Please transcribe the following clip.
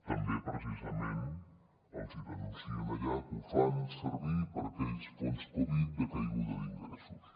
també precisament els denuncien allà que ho fan servir per a aquells fons covid de caiguda d’ingressos